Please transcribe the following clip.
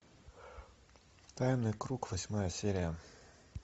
тайный круг восьмая серия